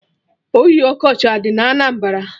Oyi ọkọchị adị na Anambra?